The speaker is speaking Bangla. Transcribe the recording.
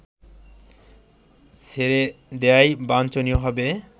ছেড়ে দেয়াই বাঞ্ছনীয় হবে